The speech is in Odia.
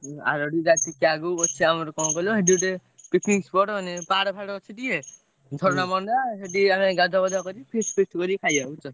ଆରଡି ତା ଟି~ କେ~ ଆଗକୁ ଅଛି ଆମର ସେଠି ଗୋଟେ କଣ କହିଲ picnic spot ମାନେ ପାହାଡ ଫାହାଡ ଅଛି ଟିକେ ଝରଣା ମରଣା ସେଠି ଗାଧୁଆପାଧୁଆ କରି feast feast କରି ଖାୟା ବୁଝୁଛ।